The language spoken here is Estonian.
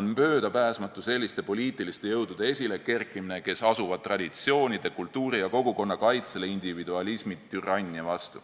on möödapääsmatu selliste poliitiliste jõudude esilekerkimine, kes asuvad traditsioonide, kultuuri ja kogukonna kaitsele individualismi türannia vastu.